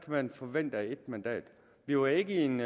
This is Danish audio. man forvente af et mandat vi var ikke i en